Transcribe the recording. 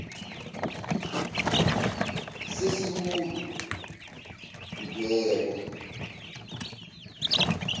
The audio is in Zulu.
s esikulo mdwebo